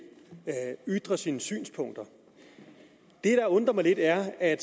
ytre sine synspunkter det der undrer mig lidt er at